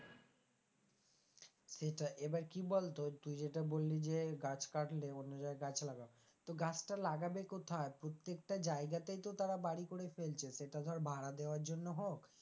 সেটাই এবার কি বলতো তুই যেটা বললি যে গাছ কাটলে অন্য জায়গায় গাছ লাগাও তো গাছটা লাগাবে কোথায় প্রত্যেকটা জায়গাতেই তো তারা বাড়ি করে ফেলছে সেটা ধর ভাড়া দেওয়ার জন্য হোক,